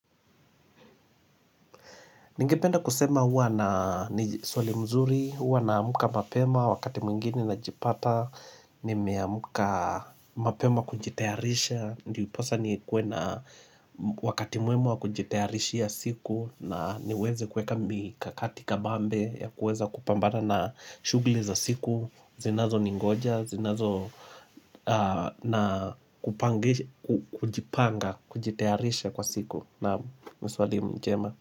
Ningependa kusema huwa na ni swali mzuri, huwa na amka mapema wakati mwingine najipata, nimeamka mapema kujitayarisha. Ndiposa ni kuwe na wakati mwema kujitayarishia siku na niweze kuweka mikakati kabambe ya kuweza kupambana na shugli za siku, zinazo ningoja, zinazo na kujipanga, kujitayarisha kwa siku naam ni swali njema.